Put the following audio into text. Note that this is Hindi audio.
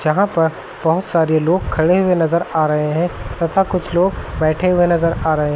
जहां पर बहोत सारे लोग खड़े हुये नजर आ रहे हैं तथा कुछ लोग बैठे हुये नजर आ रहे--